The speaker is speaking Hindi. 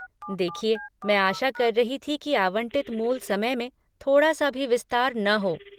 देखिये, मैं आशा कर रही थी कि आवंटित मूल समय में थोड़ा सा भी विस्तार न हो।